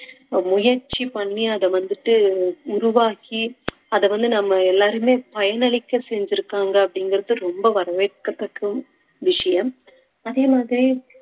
முயற்சி பண்ணி அத வந்துட்டு உருவாக்கி அத வந்து நம்ம எல்லாருமே பயனளிக்க செஞ்சிருக்காங்க அப்படிங்கிறது ரொம்ப வரவேற்கத்தக்க விஷயம் அதே மாதிரி